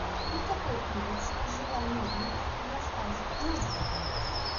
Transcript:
на какой улице жила новенькая в рассказе новенькая